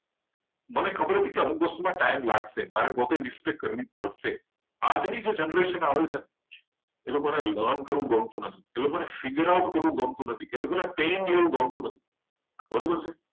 મને ખબર હતી અમુક કામમાં ટાઈમ લાગશે મારી પોતે mistake થશે. આજની generation આવે છે ને એ લોકોને સહન કરવું ગમતું નથી. એ લોકોને પેન એવું ગમતું નથી. ignore કર્યો બરોબર છે